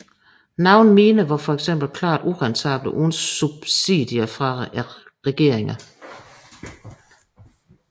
Nogle miner var for eksempel klart urentable uden subsidier fra regeringerne